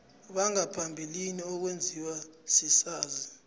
bangaphambilini okwenziwa sisazi